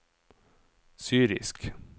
syrisk